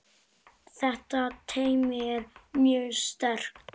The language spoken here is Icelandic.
Þetta teymi er mjög sterkt.